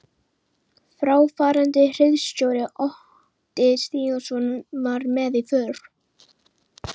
Fráfarandi hirðstjóri, Otti Stígsson, var með í för.